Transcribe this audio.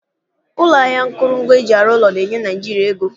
Ụlọ ahịa akụrụngwa eji arụ ụlọ na-enye Naịjiria ego.